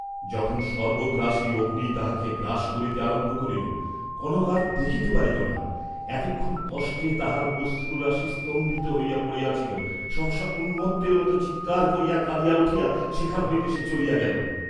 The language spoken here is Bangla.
যখন সর্ব্বগ্রাসী অগ্নি তাহাকে গ্রাস করিতে আরম্ভ করিল, কনক আর দেখিতে পারিল না, এতক্ষণ কষ্টে তাহার অশ্রুরাশি স্তম্ভিত হইয়া পড়িয়াছিল, সহসা উন্মত্তের মত চিৎকার করিয়া কাঁদিয়া উঠিয়া সেখান হইতে সে চলিয়া গেল।